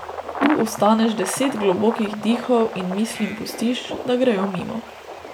Tu ostaneš deset globokih dihov in mislim pustiš, da grejo mimo.